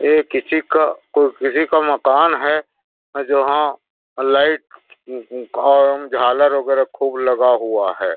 ये किसी का कु किसीका मकान है जहाँ लाइट उ उ और झालर वगेरा खूब लगा हुआ है।